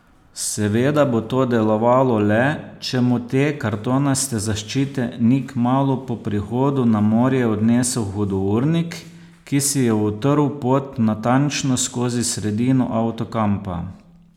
Seveda bo to delovalo le, če mu te kartonaste zaščite ni kmalu po prihodu na morje odnesel hudournik, ki si je utrl pot natančno skozi sredino avtokampa.